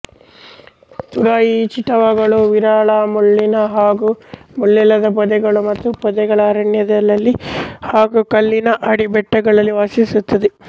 ತುರಾಯಿ ಚಿಟವಗಳು ವಿರಳಮುಳ್ಳಿನ ಹಾಗು ಮುಳ್ಳಿಲ್ಲದ ಪೊದೆಗಳು ಮತ್ತು ಪೊದೆಗಳ ಅರಣ್ಯಗಳಲ್ಲಿ ಹಾಗು ಕಲ್ಲಿನ ಅಡಿ ಬೆಟ್ಟಗಳಲ್ಲಿ ವಾಸಿಸುತ್ತದೆ